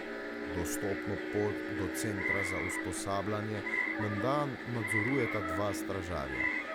Dostopno pot do centra za usposabljanje menda nadzorujeta dva stražarja.